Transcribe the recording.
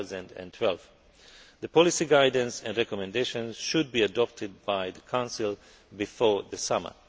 2012. The policy guidance and recommendations should be adopted by the Council before the summer.